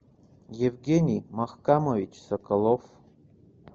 евгений махкамович соколов